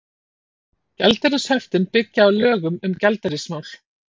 Gjaldeyrishöftin byggja á lögum um gjaldeyrismál.